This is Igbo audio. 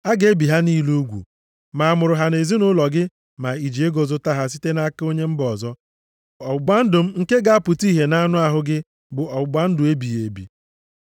A ga-ebi ha niile ugwu. Ma a mụrụ ha nʼezinaụlọ gị ma i ji ego zụta ha site nʼaka onye mba ọzọ. Ọgbụgba ndụ m nke ga-apụta ihe nʼanụ ahụ gị bụ ọgbụgba ndụ ebighị ebi.